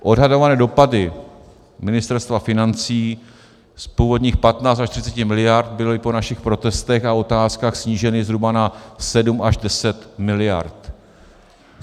Odhadované dopady Ministerstva financí z původních 15 až 30 miliard byly po našich protestech a otázkách sníženy zhruba na 7 až 10 miliard.